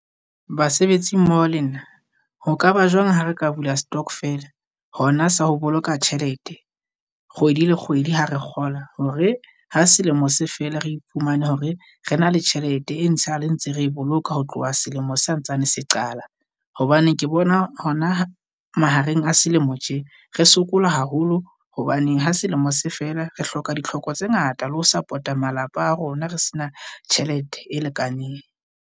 Basebetsi mmoho le nna ho ka ba jwang ha re ka bula stock-fela? Hona sa ho boloka tjhelete kgwedi le kgwedi ha re kgola hore ha selemo se fela re iphumane hore re na le tjhelete, e ntshale ntse re e boloka ho tloha selemo santsane se qala. Hobane ke bona hona mahareng a selemo tje re sokola haholo hobaneng ha selemo se fela re hloka ditlhoko tse ngata, le ho support-a malapa a rona re se na tjhelete e lekaneng.